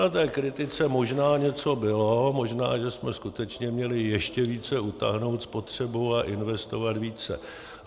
Na té kritice možná něco bylo, možná že jsme skutečně měli ještě více utáhnout spotřebu a investovat více.